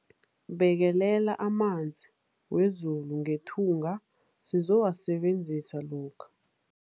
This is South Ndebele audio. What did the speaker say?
Bekelela amanzi wezulu ngethunga sizowasebenzisa lokha.